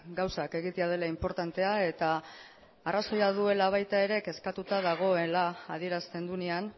gauzak egitea dela inportantea eta arrazoia duela baita ere kezkatuta dagoela adierazten duenean